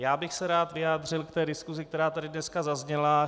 Já bych se rád vyjádřil k té diskusi, která tady dneska zazněla.